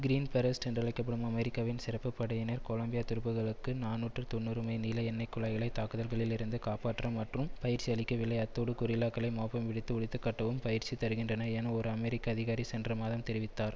green berets என்றழைக்க படும் அமெரிக்காவின் சிறப்பு படையினர் கொலம்பியா துருப்புக்களுக்கு நாநூற்று தொன்னூறுமைல் நீள எண்ணைய்க் குழாய்களை தாக்குதல்களிலிருந்து காப்பற்ற மட்டும் பயிற்சி அளிக்கவில்லை அத்தோடு கொரில்லாக்களை மோப்பம் பிடித்து ஒழித்து கட்டவும் பயிற்சி தருகின்றனர் என் ஒரு அமெரிக்க அதிகாரி சென்ற மாதம் தெரிவித்ததார்